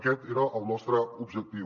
aquest era el nostre objectiu